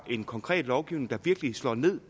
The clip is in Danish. en konkret lovgivning der virkelig slår ned